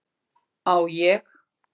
Á ég?